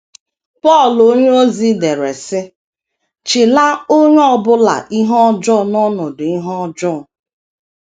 Pọl onyeozi dere, sị: “ chila onye ọ bụla ihe ọjọọ n’ọnọdụ ihe ọjọọ....